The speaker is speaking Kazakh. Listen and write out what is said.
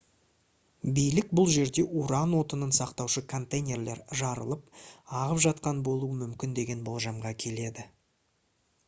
билік бұл жерде уран отынын сақтаушы контейнерлер жарылып ағып жатқан болуы мүмкін деген болжамға келеді